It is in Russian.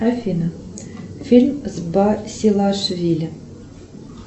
афина фильм с басилашвили